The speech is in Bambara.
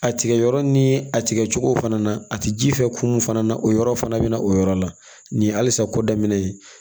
A tigɛ yɔrɔ ni a tigɛ cogo fana na a ti ji fɛ kunnu fana na o yɔrɔ fana bɛ na o yɔrɔ la nin ye halisa ko daminɛ ye